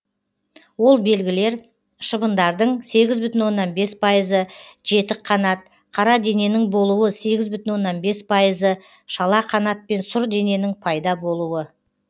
ол белгілер шыбындардың сегіз бүтін оннан бес пайызы жетік қанат қара дененің болуы сегіз бүтін оннан бес пайызы шала қанат пен сұр дененің пайда болуы